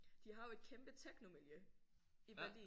Det har jo et kæmpe technomiljø i Berlin